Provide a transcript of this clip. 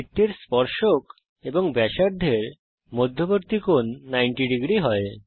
বৃত্তের স্পর্শক এবং ব্যাসার্ধের মধ্যবর্তী কোণ 900 হয়